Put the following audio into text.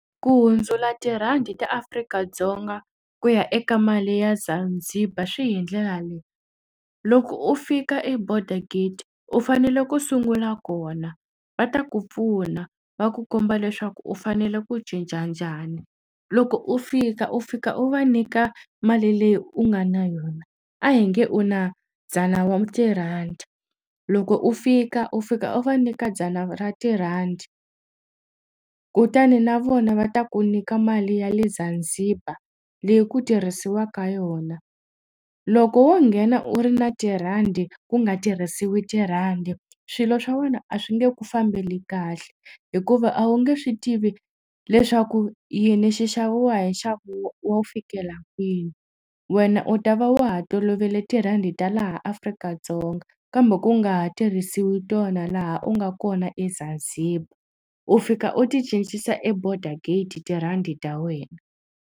Ku hundzula tirhandi ta Afrika-Dzonga ku ya eka mali ya Zanzibar swi hi ndlela leyi loko u fika eborder gate u fanele ku sungula kona va ta ku pfuna va ku komba leswaku u fanele ku cinca njhani loko u fika u fika u va nyika mali leyi u nga na yona a hi nge u na dzana wa tirhandi loko u fika u fika u va nyika dzana ra tirhandi kutani na vona va ta ku nyika mali ya le Zanzibar leyi ku tirhisiwaka yona loko wo nghena u ri na tirhandi ku nga tirhisiwi tirhandi swilo swa wena a swi nge ku fambeli kahle hikuva a wu nge swi tivi leswaku yini xi xaviwa hi nxavo wo fikela kwini wena u ta va wa ha tolovele tirhandi ta laha Afrika-Dzonga kambe ku nga ha tirhisiwi tona laha u nga kona eZanzibar u fika u ti cincisa eborder gate tirhandi ta wena.